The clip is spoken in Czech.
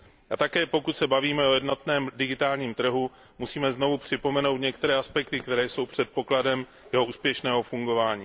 A také, pokud se bavíme o jednotném digitálním trhu, musíme znovu připomenout některé aspekty, které jsou předpokladem jeho úspěšného fungování.